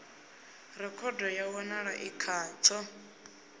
rekhodo ya wanala i khatsho